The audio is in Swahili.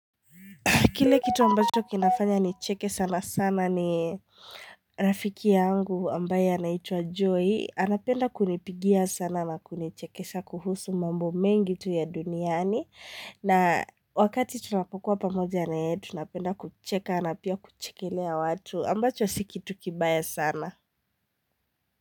Kile kitu ambacho kinafanya ni cheke sana sana ni rafiki yangu ambaye anaitua joy anapenda kunipigia sana na kunichekesha kuhusu mambo mengi tu ya duniani na wakati tunakokuwa pamoja na yetu napenda kucheka na pia kuchekelea watu ambacho siki tukibaya sana.